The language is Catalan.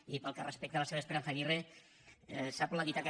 i pel que respecta a la senyora esperanza aguirre sap la dita que